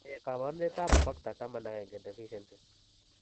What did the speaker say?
Ne kaabarunetap Factor XI deficiency?